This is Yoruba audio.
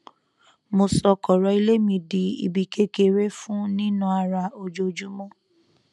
mo sọ kọrọ ilé mi di ibi kékeré fún nína ara ojoojúmọ